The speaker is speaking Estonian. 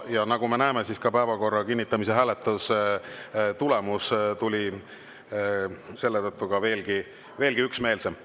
Ja nagu me näeme, päevakorra kinnitamise hääletuse tulemus tuli selle tõttu veelgi üksmeelsem.